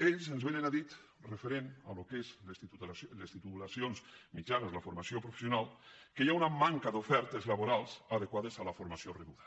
ells ens vénen a dir referent al que són les titulacions mitjanes la formació professional que hi ha una manca d’ofertes laborals adequades a la formació rebuda